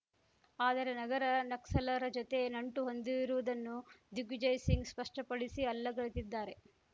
ಆದರೆ ನಗರ ನಕ್ಸಲ್‌ರ ಜತೆ ನಂಟು ಹೊಂದಿರುವುದನ್ನು ದಿಗ್ವಿಜಯ್‌ ಸಿಂಗ್‌ ಸ್ಪಷ್ಟಪಡಿಸಿ ಅಲ್ಲಗಳೆದಿದ್ದಾರೆ